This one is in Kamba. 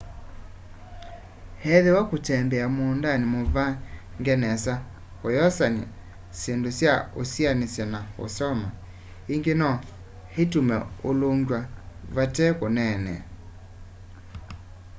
ethĩwa kũtembea mũũndanĩ mũvange nesa ũyosanya syĩndũ sya ũsianĩsya na ũsoma ingĩ no itume ũlũngw'a vate kũneenea